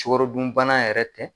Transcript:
Sukaro dun bana yɛrɛ tɛ